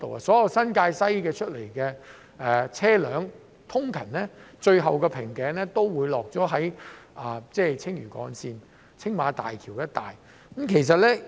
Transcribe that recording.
所有從新界西出來的車輛，最後的瓶頸通常也會在青嶼幹線和青馬大橋一帶出現。